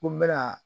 Ko n bɛna